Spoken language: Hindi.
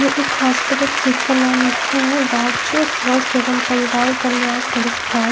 ये एक हॉस्पिटल जिसका नाम है राज्य स्वास्थ एवं परिवार कल्याण संस्थान--